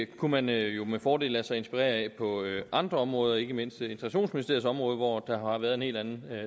kunne man jo med fordel lade sig inspirere af på andre områder ikke mindst integrationsministeriets område hvor der har været en helt anden